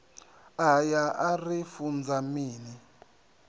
aya a ri funza mini